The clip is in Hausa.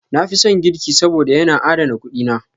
Na fi son girki saboda, yana adana kuɗi na.